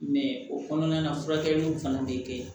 o kɔnɔna na furakɛliw fana bɛ kɛ yen